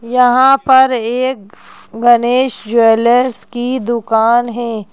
यहां पर एक गणेश ज्वेलर्स की दुकान है।